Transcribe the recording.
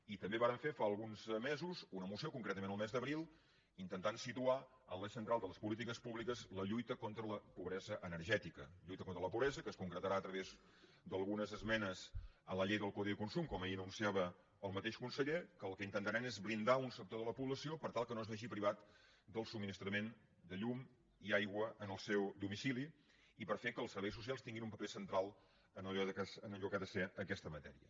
i també vàrem fer fa alguns mesos una moció concretament el mes d’abril per intentar situar en l’eix central de les polítiques públiques la lluita contra la pobresa energètica lluita contra la pobresa que es concretarà a través d’algunes esmenes en la llei del codi de consum com ahir anunciava el mateix conseller que el que intentaran és blindar un sector de la població per tal que no es vegi privat del subministrament de llum i aigua en el seu domicili i per fer que els serveis socials tinguin un paper central en allò que ha de ser aquesta matèria